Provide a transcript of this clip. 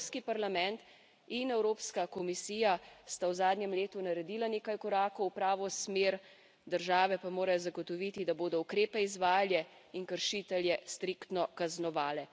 In Evropski parlament in Evropska komisija sta v zadnjem letu naredila nekaj korakov v pravo smer, države pa morajo zagotoviti, da bodo ukrepe izvajale in kršitelje striktno kaznovale.